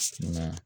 Nka